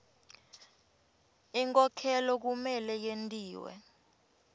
inkhokhelo kumele yentiwe